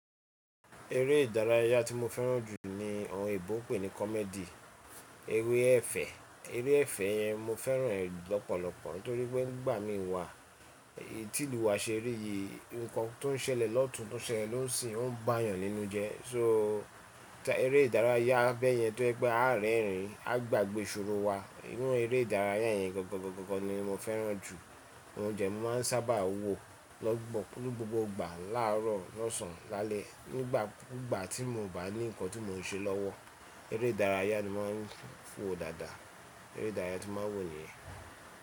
Eré ìdárayá tí mo fẹ́ràn jù ní ohun ìbọn pé ní comedy, eré ẹ̀fẹ̀, eré ẹ̀fẹ̀ yẹn mo fẹ́ràn rẹ̀ lọ́pọ̀lọpọ̀ torí pé nígbà mí ń wà tí ìlú wa ṣe rí i nǹkan tó ń ṣẹlẹ̀ lọ́tùn tó ṣẹlẹ̀ ló ń ṣí ń bá èèyàn nínú jẹ́. So eré ìdárayá abẹ́ yẹn tó jẹ́ pé a rẹ́rìn ín a gbàgbé ṣòro wa nínú eré ìdárayá yẹn gọ̀kọ̀gọ̀kọ̀gọ̀ ni mo fẹ́ràn jù. Ohun jẹ ní mo máa ń sábà wo lógbò ó kúrú gbogbo ìgbà láàárọ̀ lọ́sàn án lálẹ́ nígbà kú gbà tí mo ò bá ní nǹkan tí mo ń ṣe lọ́wọ́. Eré ìdárayá ni mo ń fò dáadáa, eré ìdárayá tí mo ń wò yẹn.